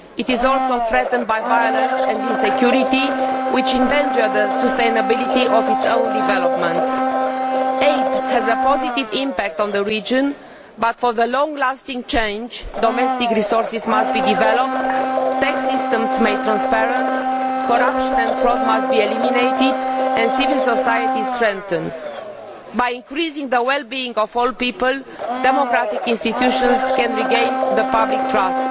It is also threatened by violence and insecurity, which jeopardise the sustainability of its own development. Aid has a positive impact on the region but, for long lasting change, domestic resources must be developed, tax systems made transparent, corruption and fraud must be eliminated and civil society strengthened. By increasing the well being of all people, democratic institutions can regain the public's trust.